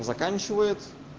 заканчивает